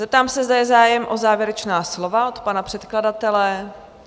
Zeptám se, zde je zájem o závěrečná slova od pana předkladatele?